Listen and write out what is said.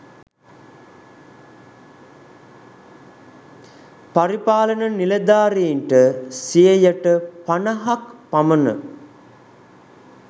පරිපාලන නිළධාරීන්ට සියයට පණහක් පමණ